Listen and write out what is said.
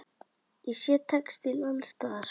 Ég sé textíl alls staðar.